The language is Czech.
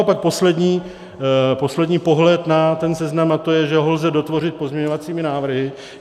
A pak poslední pohled na ten seznam, a to je, že ho lze dotvořit pozměňovacími návrhy.